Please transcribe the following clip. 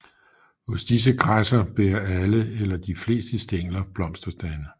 Hos disse græsser bærer alle eller de fleste stængler blomsterstande